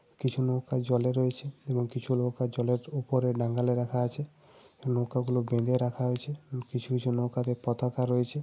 কিছু নৌকা জলে রয়েছে এবং কিছু লোক আর জলের উপরে নাগালে রাখা আছে। নৌকাগুলো বেঁধে রাখা আছে এবং কিছু কিছু নৌকাতে পতাকা রয়েছে।